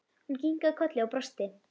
Hún kinkaði kolli og brosti.